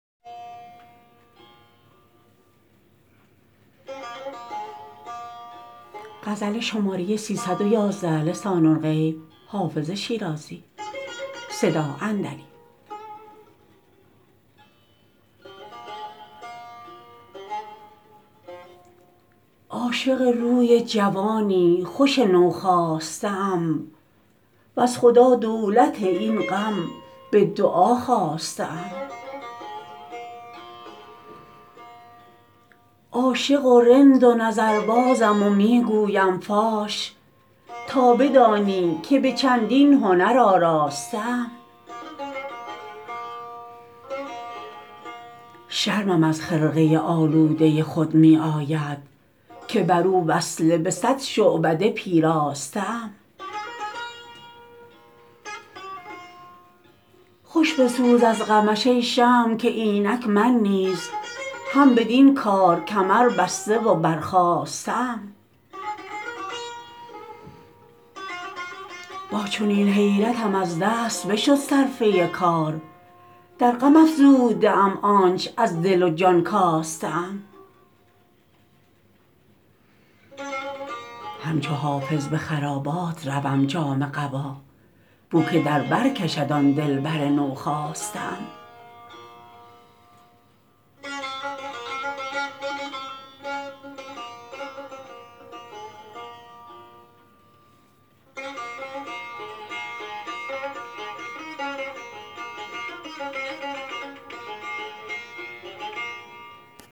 عاشق روی جوانی خوش نوخاسته ام وز خدا دولت این غم به دعا خواسته ام عاشق و رند و نظربازم و می گویم فاش تا بدانی که به چندین هنر آراسته ام شرمم از خرقه آلوده خود می آید که بر او وصله به صد شعبده پیراسته ام خوش بسوز از غمش ای شمع که اینک من نیز هم بدین کار کمربسته و برخاسته ام با چنین حیرتم از دست بشد صرفه کار در غم افزوده ام آنچ از دل و جان کاسته ام همچو حافظ به خرابات روم جامه قبا بو که در بر کشد آن دلبر نوخاسته ام